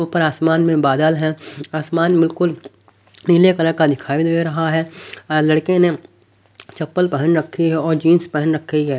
ऊपर आसमान में बादल हैं आसमान बिल्कुल नीले कलर का दिखाई दे रहा है लड़के ने चप्पल पहन रखी है और जींस पहन रखी है।